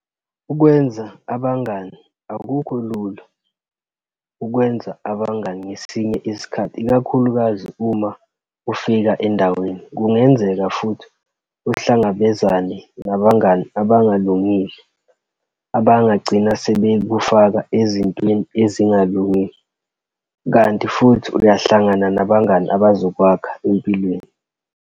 2 Ukwenza abangani- akukho lula ukwenza abangani ngesinye isikhathi ikakhulukazi uma ufika endaweni kungenzeka futhi uhlangabezane nabangani abangalungile abangagcina sebekufaka ezintweni ezingalungile Kanti futhi uyahlangana nabangani abazokwakha empilweni.